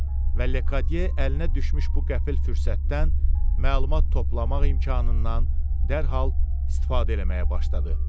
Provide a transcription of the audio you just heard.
Və Lekadiye əlinə düşmüş bu qəfil fürsətdən məlumat toplamaq imkanından dərhal istifadə eləməyə başladı.